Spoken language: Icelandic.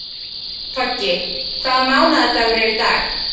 Toggi, hvaða mánaðardagur er í dag?